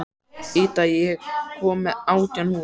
Ída, ég kom með átján húfur!